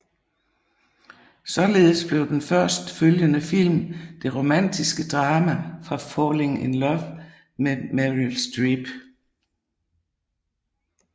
Således blev den først følgende film det romantiske drama Falling in Love med Meryl Streep